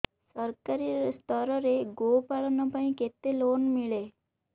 ସରକାରୀ ସ୍ତରରେ ଗୋ ପାଳନ ପାଇଁ କେତେ ଲୋନ୍ ମିଳେ